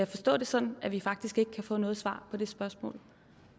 forstå det sådan at vi faktisk ikke kan få noget svar på det spørgsmål